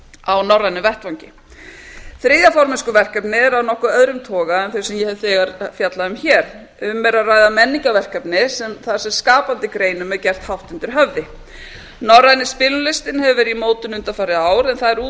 á norrænum vettvangi þriðja formennskuverkefnið er af nokkuð öðrum toga en það sem ég hef þegar fjallað um hér um er að ræða menningarverkefni þar sem skapandi greinum er gert hátt undir höfði norræni spilalistinn hefur verið í mótun undanfarandi ár en það